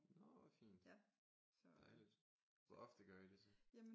Nå hvor fint dejligt hvor ofte gør I det så?